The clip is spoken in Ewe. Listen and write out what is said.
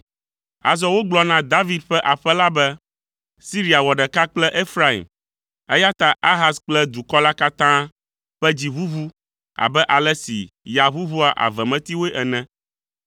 Azɔ wogblɔ na David ƒe aƒe la be, Siria wɔ ɖeka kple Efraim, eya ta Ahaz kple dukɔ la katã ƒe dzi ʋuʋu abe ale si ya ʋuʋua avemetiwoe ene.